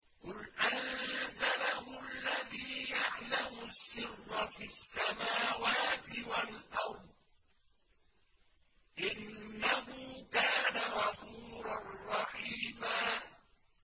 قُلْ أَنزَلَهُ الَّذِي يَعْلَمُ السِّرَّ فِي السَّمَاوَاتِ وَالْأَرْضِ ۚ إِنَّهُ كَانَ غَفُورًا رَّحِيمًا